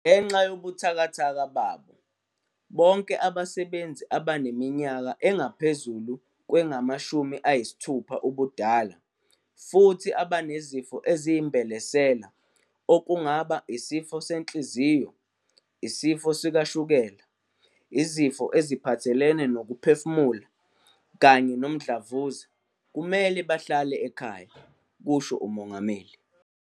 "Ngenxa yobuthakathaka babo, bonke abasebenzi abaneminyaka engaphezulu kwengama-60 ubudala futhi abanezifo eziyimbelesela okungaba isifo senhliziyo, isifo sikashukela, izifo eziphathelene nokuphefumula kanye nomdlavuza kumele bahlale ekhaya," kusho uMongameli.